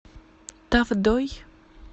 тавдой